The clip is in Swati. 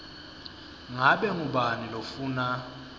ngabe ngubani lofuna